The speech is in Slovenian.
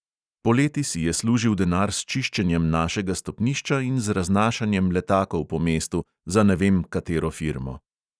Poleti si je služil denar s čiščenjem našega stopnišča in z raznašanjem letakov po mestu za ne vem katero firmo.